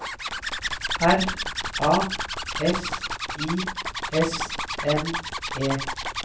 R A S I S M E